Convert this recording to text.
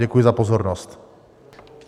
Děkuji za pozornost.